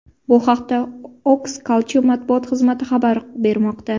Bu haqda Oxus Culture matbuot xizmati xabar bermoqda.